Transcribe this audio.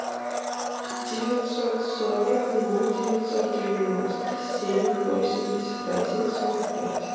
девятьсот сорок ноль девятьсот девяносто семь восемьдесят один сорок пять